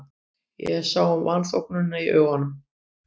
Ég sá vanþóknunina í augum